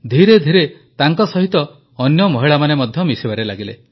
ଧୀରେ ଧୀରେ ତାଙ୍କ ସହିତ ଅନ୍ୟ ମହିଳାମାନେ ମଧ୍ୟ ମିଶିବାରେ ଲାଗିଲେ